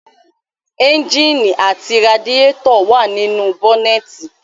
Ẹ́ńjìnì àti radiétọ̀ wà nínú bọ́nẹ́ẹ̀nì